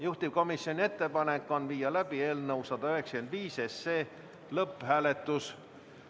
Juhtivkomisjoni ettepanek on viia läbi eelnõu 195 lõpphääletus.